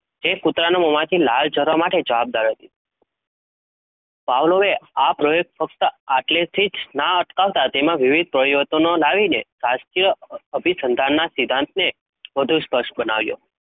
તે કુતરાના મોમાંથી લાળ જરવા માટે જવાબદાર હતી. Pavlov એ આ પ્રયોગ ફક્ત આટલેથી જ ના અટકાવતા તેમાં વિવિધ પ્રયત્નો લાવીને શાસ્ત્રીય અ અભિસંધાનના સિદ્ધાંતને વધુ સ્પષ્ટ બનાવ્યો.